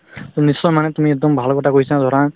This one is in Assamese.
নিশ্চয় মানে তুমি একদম ভাল কথা কৈছা ধৰা